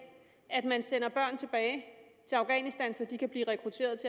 man sender børn tilbage til afghanistan så de kan blive rekrutteret